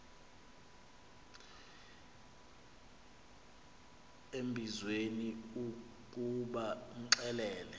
embizweni ukuba imxelele